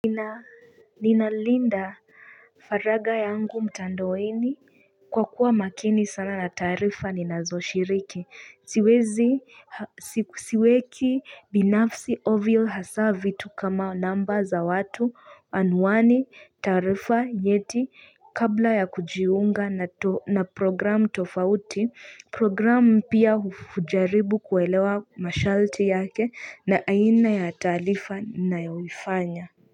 Nina Linda faragha yangu mtandoweni kwa kuwa makini sana na taarifa ni nazo shiriki siwezi siweki binafsi ovyo hasa vitu kama namba za watu anuani tarifa yeti kabla ya kujiunga na programu tofauti programu mpya hujaribu kuelewa mashalti yake na aina ya taarifa ninayofanya.